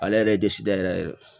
Ale yɛrɛ ye disi da yɛrɛ yɛrɛ